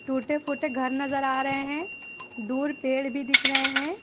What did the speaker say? टूटे फूटे घर नजर आ रहे हैं दूर पेड़ भी दिख रहे हैं।